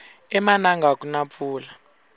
emananga akuna mpfula